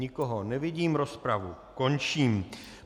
Nikoho nevidím, rozpravu končím.